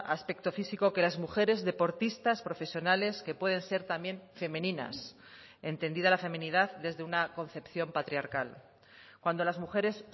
aspecto físico que las mujeres deportistas profesionales que pueden ser también femeninas entendida la feminidad desde una concepción patriarcal cuando las mujeres